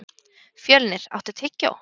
Fjölnir, áttu tyggjó?